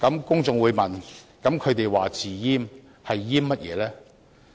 公眾又會問，那麼他們說"自閹"是"閹"甚麼呢？